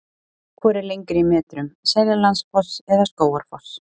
Hvor er lengri í metrum, Seljalandsfoss eða Skógarfoss?